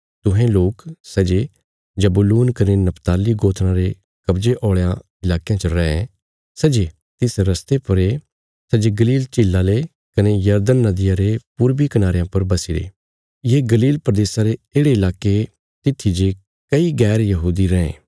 तुहें लोक सै जे जबूलून कने नप्ताली गोत्राँ रे कव्जे औल़यां इलाकेयां च रैं सै जे तिस रस्ते पर ये सै जे गलील झीला ले कने यरदन नदिया रे पूर्वी कनारेयां पर बसीरे ये गलील प्रदेशा रे येढ़े इलाके तित्थी जे कई गैर यहूदी रैं